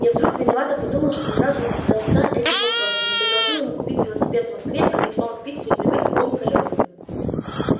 я вдруг виновато подумал что ни разу не задался этим вопросом не предложил ему купить велосипед в москве а ведь он в питере привык к двум колёсам